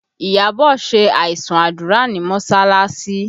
Iyabọ̀ ṣe aisun àdúrà ní mọsalasi